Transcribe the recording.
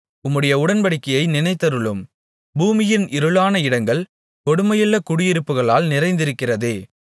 உம்முடைய உடன்படிக்கையை நினைத்தருளும் பூமியின் இருளான இடங்கள் கொடுமையுள்ள குடியிருப்புகளால் நிறைந்திருக்கிறதே